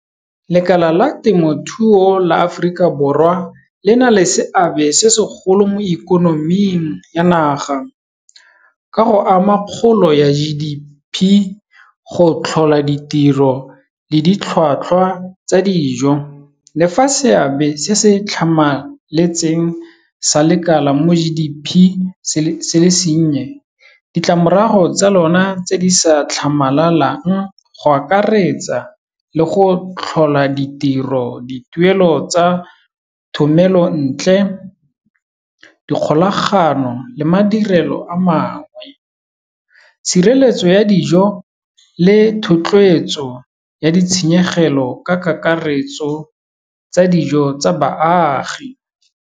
Lekala la temothuo la Aforika Borwa le na le seabe se segolo mo ikonoming ya naga, ka go ama kgolo ya G_D_P, go tlhola ditiro le ditlhwatlhwa tsa dijo le fa seabe se se tlhamaletseng sa lekala mo G_D_P se le senye ditlamorago tsa lona tse di sa tlhamalalo yang go akaretsa le go tlhola ditiro, dituelo tsa thomelontle, dikgolagano le madirelo a mangwe tshireletso ya dijo le thotloetso ya ditshenyegelo ka kakaretso tsa dijo tsa baagi.